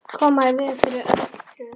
Koma í veg fyrir örtröð.